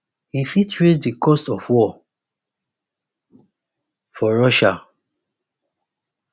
e fit raise di cost of war for russia